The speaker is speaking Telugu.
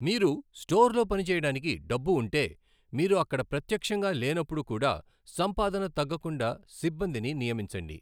మీరు స్టోర్లో పనిచేయడానికి డబ్బు ఉంటే, మీరు అక్కడ ప్రత్యక్షంగా లేనప్పుడు కూడా సంపాదన తగ్గకుండా సిబ్బందిని నియమించండి.